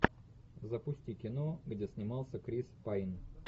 запусти кино где снимался крис пайн